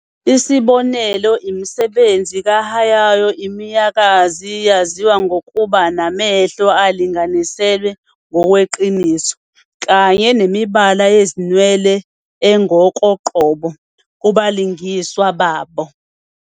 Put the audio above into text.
Isibonelo, imisebenzi kaHayao Miyazaki yaziwa ngokuba namehlo alinganiselwe ngokweqiniso, kanye nemibala yezinwele engokoqobo kubalingiswa babo.